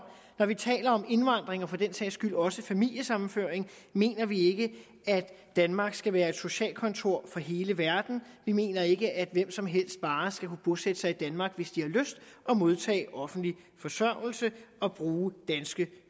når vi taler om indvandring og for den sags skyld også familiesammenføring mener vi ikke at danmark skal være et socialkontor for hele verden vi mener ikke at hvem som helst bare skal kunne bosætte sig i danmark hvis de har lyst og modtage offentlig forsørgelse og bruge danske